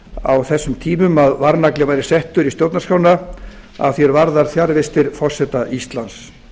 á þessum tímum að varnagli væri settur í stjórnarskrána að því er varðar fjarvistir forseta íslands